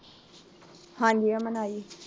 ਹਾਂਜੀ ਅਮਨ ਆਈ ਏ